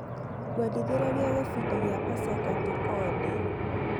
Kũendithĩrĩria gĩbindi gĩa Pasaka Tũkodĩ.